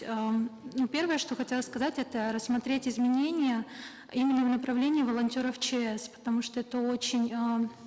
эээ ну первое что хотелось сказать это рассмотреть изменения именно в направлении волонтеров чс потому что это очень э